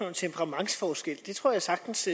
om temperamentsforskel det tror jeg sagtens